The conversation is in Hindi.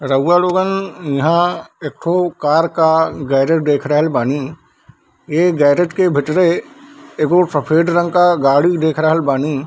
रउवा लोगन इहा एकठो कार का गैरेज देख रहल बानी | ए गैरेज के भीतरे एगो सफ़ेद रंग का गाड़ी देख रहल बानी |